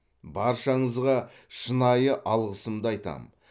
баршаңызға шынайы алғысымды айтамын